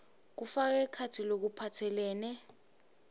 kufaka ekhatsi lokuphatselene